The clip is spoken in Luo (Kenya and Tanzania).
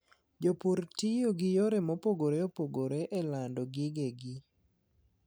Jopur tiyo gi yore mopogore opogore e lando gige gi.